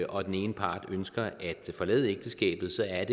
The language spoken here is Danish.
og den ene part ønsker at forlade ægteskabet så er